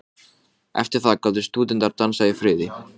Var ekki neyðarlegt að hnýsast svona í einkamál annarra?